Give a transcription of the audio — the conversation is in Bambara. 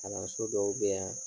Kalanso dɔw be yan